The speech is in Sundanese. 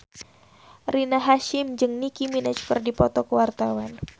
Rina Hasyim jeung Nicky Minaj keur dipoto ku wartawan